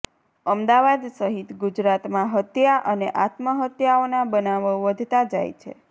અમદાવાદ સહિત ગુજરાતમાં હત્યા અને આત્મહત્યાઓના બનાવો વધતા જાય છે